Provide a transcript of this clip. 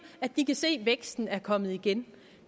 at de kan se at væksten er kommet igen